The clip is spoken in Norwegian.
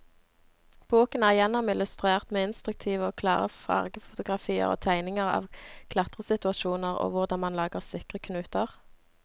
Boken er gjennomillustrert med instruktive og klare fargefotografier og tegninger av klatresituasjoner og hvordan man lager sikre knuter.